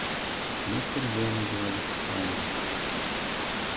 они впервые надевали скафандры